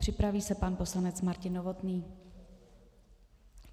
Připraví se pan poslanec Martin Novotný.